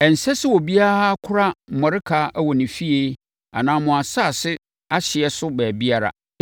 Ɛnsɛ sɛ obiara kora mmɔreka wɔ ne fie anaa mo asase no ahyeɛ so baabiara.